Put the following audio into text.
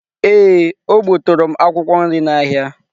Ee, o gbuturu m akwụkwọ nri n’ahịa.